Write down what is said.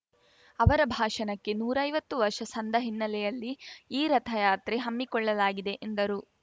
ಅವರ ಭಾಷಣಕ್ಕೆ ನೂರೈವತ್ತು ವರ್ಷ ಸಂದ ಹಿನ್ನೆಲೆಯಲ್ಲಿ ಈ ರಥಯಾತ್ರೆ ಹಮ್ಮಿಕೊಳ್ಳಲಾಗಿದೆ ಎಂದರು